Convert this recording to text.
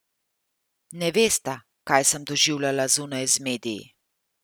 Ne vesta, kaj sem doživljala zunaj z mediji.